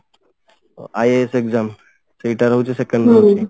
IAS exam ସେଇଟା ରହୁଛି second